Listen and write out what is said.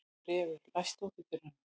Refur, læstu útidyrunum.